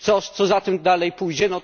Co za tym dalej pójdzie?